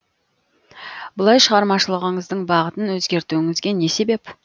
бұлай шығармашылығыңыздың бағытын өзгертуіңізге не себеп